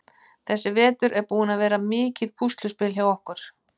Þessi vetur er búinn að vera mikið púsluspil hjá okkur.